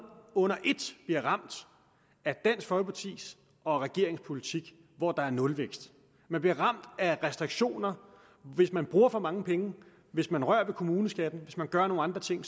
under et bliver ramt af dansk folkepartis og regeringens politik hvor der er nulvækst man bliver ramt af restriktioner hvis man bruger for mange penge hvis man rører ved kommuneskatten og hvis man gør nogle andre ting